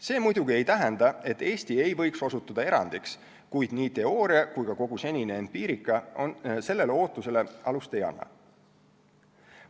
See muidugi ei tähenda, et Eesti ei võiks osutuda erandiks, kuid ei teooria ega ka kogu senine empiirika sellele ootusele alust ei anna.